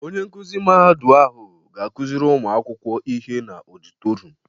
Onye nkuzi mahadu ahụ ga-akuzịrị ụmụakwụkwọ ihe n'ọditotrium